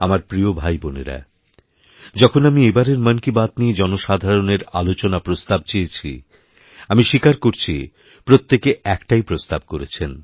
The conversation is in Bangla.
আমার প্রিয়ভাইবোনেরা যখন আমি এবারের মন কি বাত নিয়ে জনসাধারণের আলোচনা প্রস্তাব চেয়েছিআমি স্বীকার করছি প্রত্যেকে একটাই প্রস্তাব করেছেন